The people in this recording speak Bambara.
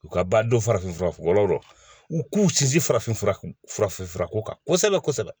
U ka ba don farafinfuraw lɔ u k'u sinsin farafin furafin furako kan kosɛbɛ